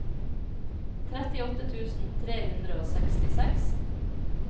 trettiåtte tusen tre hundre og sekstiseks